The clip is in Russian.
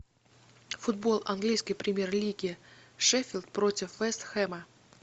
футбол английской премьер лиги шеффилд против вест хэма